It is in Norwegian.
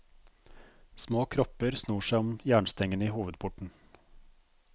Små kropper snor seg om jernstengene i hovedporten.